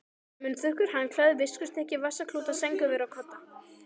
Munnþurrkur, handklæði, viskustykki, vasaklúta, sængurver og kodda.